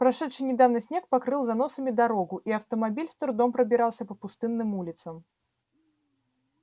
прошедший недавно снег покрыл заносами дорогу и автомобиль с трудом пробирался по пустынным улицам